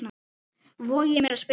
voga ég mér að spyrja.